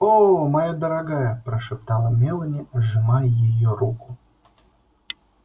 о моя дорогая прошептала мелани сжимая её руку